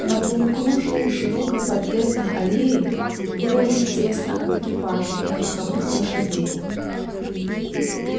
на полукружии широкой подъездной аллеи было уже тесно от экипажей и верховых лошадей